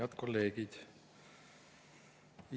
Head kolleegid!